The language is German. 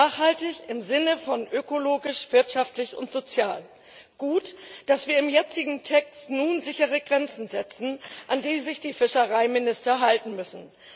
Nachhaltig im Sinne von ökologisch, wirtschaftlich und sozial. Es ist gut, dass wir im jetzigen Text nun sichere Grenzen setzen, an die sich die Fischereiminister halten müssen.